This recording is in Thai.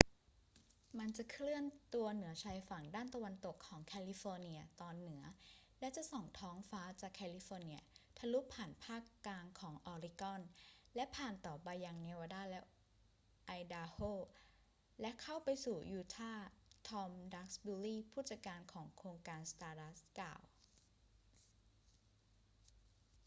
มันจะเคลื่อนตัวเหนือชายฝั่งด้านตะวันตกของแคลิฟอร์เนียตอนเหนือและจะส่องท้องฟ้าจากแคลิฟอร์เนียทะลุผ่านภาคกลางของออริกอน และผ่านต่อไปยังเนวาดาและไอดาโฮ และเข้าไปสู่ยูทาห์ ทอม ดักซ์บิวรี ผู้จัดการของโครงการ stardust กล่าว